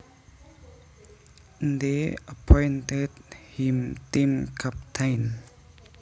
They appointed him team captain